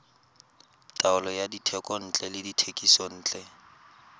taolo ya dithekontle le dithekisontle